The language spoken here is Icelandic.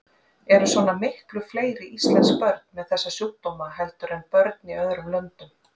Eru svona miklu fleiri íslensk börn með þessa sjúkdóma heldur en börn í öðrum löndum?